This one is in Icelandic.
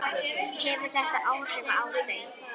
Hefur þetta áhrif á þau?